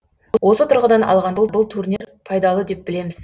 осы тұрғыдан алғанда бұл турнир пайдалы деп білеміз